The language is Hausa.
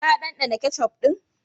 Ka dandana ketchup din?